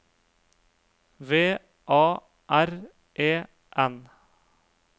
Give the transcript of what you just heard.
V A R E N